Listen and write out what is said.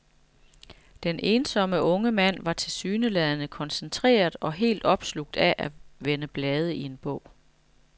Den ensomme unge mand var tilsyneladende koncentreret og helt opslugt af at vende blade i en bog.